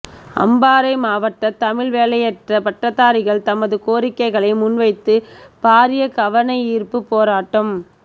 அம்பாரை மாவட்ட தமிழ் வேலையற்ற பட்டதாரிகள் தமது கோரிக்கைகளை முன்வைத்து பாரிய கவனயீர்ப்பு போராட்டம்